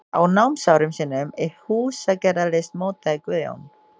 Á námsárum sínum í húsagerðarlist mótaði Guðjón